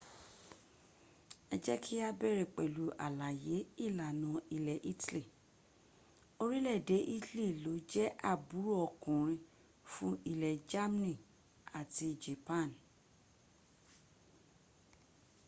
ẹ jẹ́ kí á bẹ̀rẹ̀ pẹ̀lú àlàyé ìlànà ilẹ̀ italy orílẹ̀èdè italy ló jẹ́ àbúrò ọkùnrin fún ilẹ̀ germany àti japan